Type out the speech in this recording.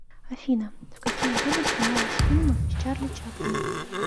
афина в какие годы снимались фильмы с чарли чаплином